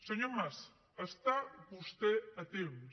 senyor mas està vostè a temps